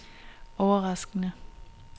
overraskende